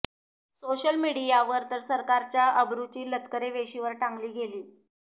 social मीडियावर तर सरकारच्या अब्रुची लक्तरे वेशीवर टांगली गेली